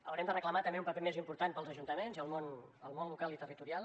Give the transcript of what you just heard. haurem de reclamar un paper més important també per als ajuntaments i el món local i territorial